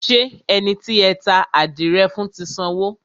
Ṣé ẹni tí ẹ ta àdìrẹ fún ti sanwó?